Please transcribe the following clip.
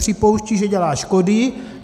Připouštějí, že dělá škody.